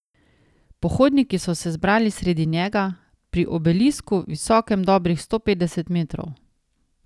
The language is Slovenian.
Pohodniki so se zbrali sredi njega, pri obelisku, visokem dobrih sto petdeset metrov.